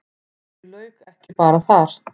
En því lauk ekki bara þar.